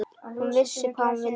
Hún vissi hvað hún vildi.